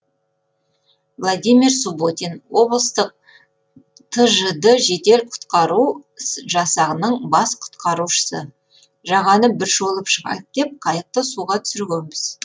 владимир субботин облыстық тжд жедел құтқару жасағының бас құтқарушысы жағаны бір шолып шығайық деп қайықты суға түсіргенбіз